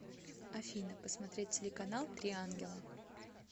афина посмотреть телеканал три ангела